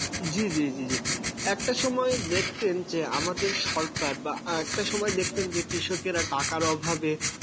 জি, জি, জি, জি, একটা সময় দেখতেন যে আমাদের সরকার বা একটা সময়ে দেখতেন যে কৃষকেরা টাকার অভাবে